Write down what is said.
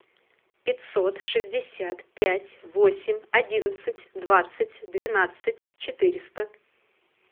пятьсот шестьдесят пять восемь одиннадцать двадцать двенадцать четыреста